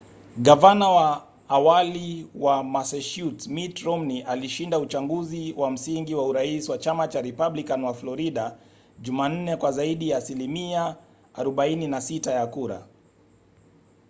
gavana wa awali wa massachusetts mitt romney alishinda uchaguzi wa msingi wa urais wa chama cha republican wa florida jumanne kwa zaidi ya asilimia 46 ya kura